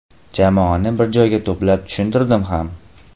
Jamoani bir joyga to‘plab tushuntirdim ham.